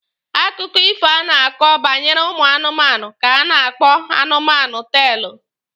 Akụkọ ifo a na-akọ banyere ụmụ anụmanụ ka a na-akpọ anụmanụ teelụ.